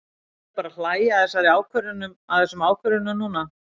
Við erum bara að hlæja að þessum ákvörðunum núna.